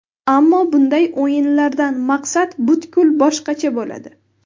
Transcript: Ammo bunday o‘yinlardan maqsad butkul boshqacha bo‘ladi.